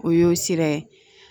O y'o sira ye